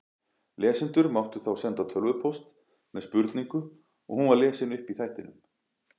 Lesendur máttu þá senda tölvupóst með spurningu og hún var lesin upp í þættinum.